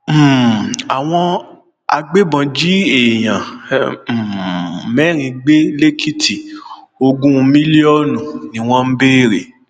um àwọn agbébọn jí èèyàn um mẹrin gbé lẹkìtì ogún mílíọnù ni wọn ń béèrè